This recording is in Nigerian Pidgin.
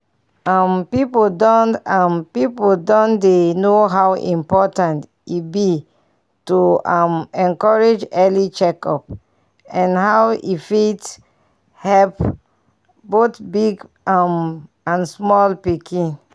um people don um people don dey know how important e be to um encourage early check up and how e fit help both big um and small pikin.